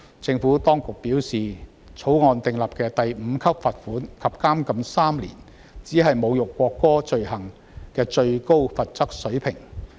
政府當局表示，《條例草案》訂立的第5級罰款及監禁3年，是侮辱國歌的罪行的最高罰則水平。